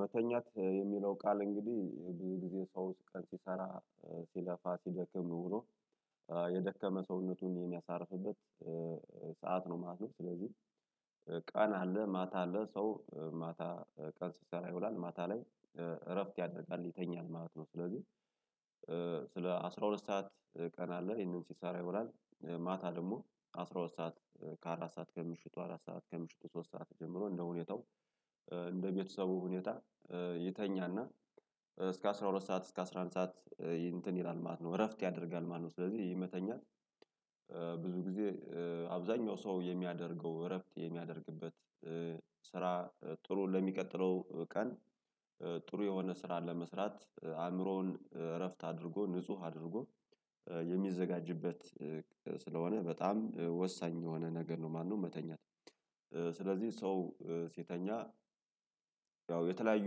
መተኛት የሚለው ቃል እንግዲህ ብዙ ጊዜ ሰው ውስጥ ቀን ሲሰራ ሲለፋ ሲደክም ብሎ ኖሮ የደከመ ሰውነቱን የሚያሳርፍበት ሰዓት ነው ማለት ነው። ስለዚህ ቀን አለ ማታ አለ ሰው ማታ ቀን ሲሰራ ይውላል ማታ ላይ እረፍት ያደርጋል ይተኛል ማለት ነው። ስለዚህ ስለ አስራ ሁለት ሰዓት ቀን አለ ይሄንን ሲሰራ ይውላል ማታ ደግሞ አስራ ሁለት ሰዓት ከአራት ሰዓት ከምሽቱ አራት ሰዓት ከምሽቱ ሶስት ሰዓት ጀምሮ እንደሁኔታው እንደቤተሰቡ ሁኔታ ይተኛል። እና እስከ አስራ ሁለት ሰዓት እስከ አስራ አንድ ሰዓት እንትን ይላል ማለት ነው እረፍት ያደርጋል ማለት ነው። ስለዚህ ይሄ መተኛት ብዙ ጊዜ አብዛኛው ሰው የሚያደርገው እረፍት የሚያደርግበት ስራ ጥሩ ለሚቀጥለው ቀን ጥሩ የሆነ ስራ ለመስራት አእምሮውን እረፍት አድርጎ ንጹህ አድርጎ የሚዘጋጅበት ስለሆነ በጣም ወሳኝ የሆነ ነገር ነው ማለነው። መተኛት ስለዚህ ሰው ሲተኛ ያው የተለያዩ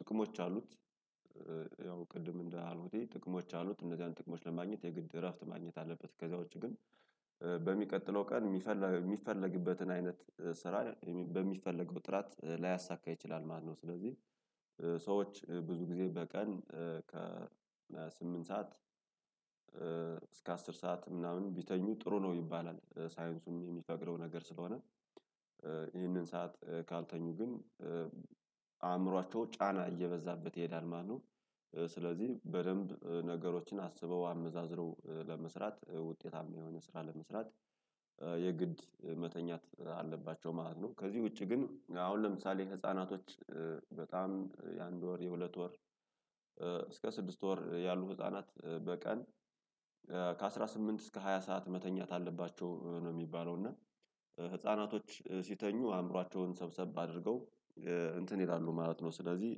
ጥቅሞች አሉት። ያው ቅድም እንዳሉት ጥቅሞች አሉት እነዚያን ጥቅሞች ለማግኘት የግድ እረፍት ማግኘት አለበት ከዚያው ውጪ ግን በሚቀጥለው ቀን የሚፈልግ የሚፈልግበትን አይነት ስራ በሚፈለገው ጥራት ላያሳካ ይችላል ማለት ነው። ስለዚህ ሰዎች ብዙ ጊዜ በቀን ከ ስምንት ሰዓት እስከ አስር ሰዓት ምናምን ቢተኙ ጥሩ ነው ይባላል። ሳይንሱም የሚፈቅደው ነገር ስለሆነ ይህንን ሰዓት ካልተኙ ግን አእምሯቸው ጫና እየበዛበት ይሄዳል ማነው ስለዚህ በደንብ ነገሮችን አስበው አመዛዝነው ለመስራት ውጤታማ የሆነ ስራ ለመስራት የግድ መተኛት አለባቸው ማለት ነው። ከዚህ ውጪ ግን አሁን ለምሳሌ ህፃናቶች በጣም የአንድ ወር የሁለት ወር እስከ ስድስት ወር ያሉ ህፃናት በቀን ከአሥራ ስምንት እስከ ሃያ ሰዓት መተኛት አለባቸው ነው የሚባለው። እና ህፃናቶች ሲተኙ አእምሯቸውን ሰብሰብ አድርገው እንትን ይላሉ ማለት ነው ስለዚህ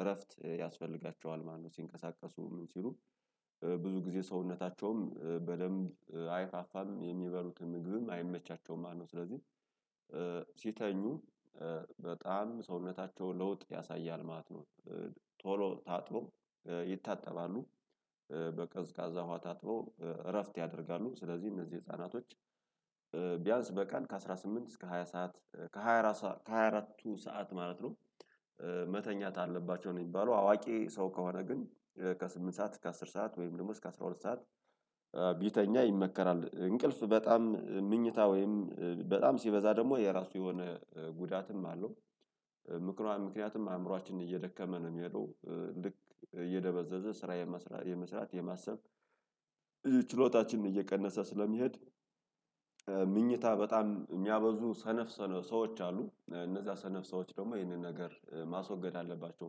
እረፍት ያስፈልጋቸዋል ማለነው። ሲንቀሳቀሱ ምን ሲሉ ብዙ ጊዜ ሰውነታቸውም በደንብ አይፋፋም የሚበሉትን ምግብም አይመቻቸውም ማለት ነው። ስለዚህ ሲተኙ በጣም ሰውነታቸውን ለውጥ ያሳያል ማለት ነው። ቶሎ ታጥሎ ይታጠባሉ በቀዝቃዛ ውሃ ታጥበው እረፍት ያደርጋሉ ስለዚህ እነዚህ ህፃናቶች ቢያንስ በቀን ከአሥራ ስምንት እስከ ሃያ ሰዓት ከሃያ አራት ሳ ከሃያ አራትቱ ሰዓት ማለት ነው። መተኛት አለባቸው ነው የሚባለው አዋቂ ሰው ከሆነ ግን ከስምንት ሰዓት እስከ አስር ሰዓት ወይም ደግሞ እስከ አስራ ሁለት ሰዓት ቢተኛ ይመከራል። እንቅልፍ በጣም ምኝታ ወይም በጣም ሲበዛ ደግሞ የራሱ የሆነ ጉዳትም አለው። ምክንያቱም አእምሮአችን እየደከመ ነው የሚሄደው ልክ እየደበዘዘ ስራ የመስራት የመስራት የማሰብ ችሎታችንን እየቀነሰ ስለሚሄድ። ምኝታ በጣም የሚያበዙ ሰነፍ ሰነፍ ሰዎች አሉ እነዛ ሰነፍ ሰዎች ደግሞ ይህንን ነገር ማስወገድ አለባቸው።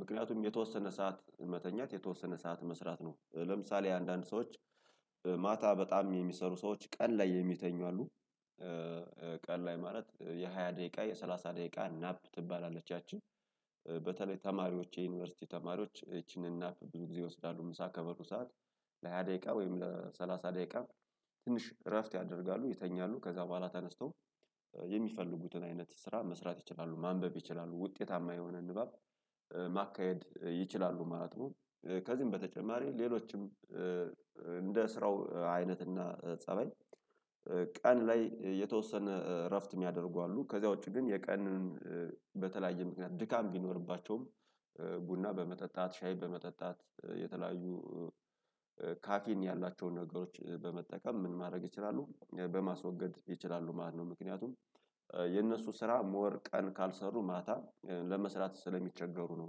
ምክንያቱም የተወሰነ ሰዓት መተኛት የተወሰነ ሰዓት መስራት ነው ለምሳሌ አንዳንድ ሰዎች ማታ በጣም የሚሰሩ ሰዎች ቀን ላይ የሚተኙ አሉ። ቀን ላይ ማለት የሃያ ደቂቃ የሠላሳ ደቂቃ ናፕ ትባላለች ያቺ በተለይ ተማሪዎች የዩኒቨርሲቲ ተማሪዎች ይቺንን ናፕ ብዙ ጊዜ ይወስዳሉ ምሳ ከበሉ ሰዓት ለሃያ ደቂቃ ወይም ለሰላሳ ደቂቃ ትንሽ እረፍት ያደርጋሉ። ይተኛሉ ከዛ በኋላ ተነስቶ የሚፈልጉትን አይነት ስራ መስራት ይችላሉ ማንበብ ይችላሉ ውጤታማ የሆነ ንባብ ማካሄድ ይችላሉ ማለት ነው። ከዚህም በተጨማሪ ሌሎችም እንደ ስራው አይነትና ፀባይ ቀን ላይ የተወሰነ እረፍት የሚያደርጉ አሉ። ከዚያ ውጪ ግን የቀንን በተለያየ ምክንያት ድካም ቢኖርባቸውም ቡና በመጠጣት ሻይ በመጠጣት የተለያዩ ካፊን ያላቸውን ነገሮች በመጠቀም ምን ማድረግ ይችላሉ በማስወገድ ይችላሉ ማለት ነው። ምክንያቱም የእነሱ ስራ ሞር ቀን ካልሰሩ ማታ ለመስራት ስለሚቸገሩ ነው።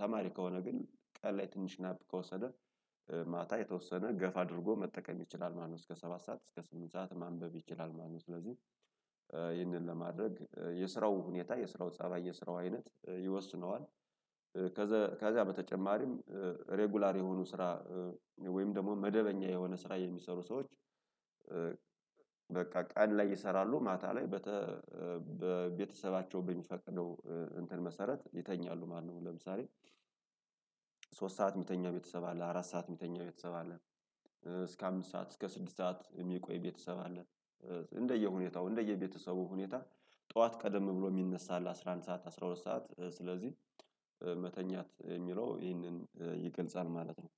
ተማሪ ከሆነ ግን ቀን ላይ ትንሽ ናፕ ከወሰደ ማታ የተወሰነ ገፋ አድርጎ መጠቀም ይችላል ማልነው እስከ ሰባት ሰዓት እስከ ስምንት ሰዓት ማንበብ ይችላል ማለነው ስለዚህ ይህንን ለማድረግ የስራው ሁኔታ የስራው ፀባይ የስራው አይነት ይወስነዋል። ከዛ ከዚያ በተጨማሪም ሬጉላር የሆኑ ስራ ወይም ደግሞ መደበኛ የሆነ ስራ የሚሰሩ ሰዎች በቃ ቀን ላይ ይሰራሉ ማታ ላይ በቤተሰባቸው በሚፈቅደው እንትን መሰረት ይተኛሉ ማለነው። ለምሳሌ ሶስት ሰዓት የሚተኛ ቤተሰብ አለ አራት ሰዓት የሚተኛ ቤተሰብ አለ። እስከ አምስት ሰዓት እስከ ስድስት ሰዓት የሚቆይ ቤተሰብ አለ። እንደየሁኔታው እንደየቤተሰቡ ሁኔታ ጠዋት ቀደም ብሎ የሚነሳ አለ አስራ አንድ ሰዓት አስራ ሁለት ሰዓት ስለዚህ መተኛት የሚለው ይህንን ይገልጻል ማለት ነው።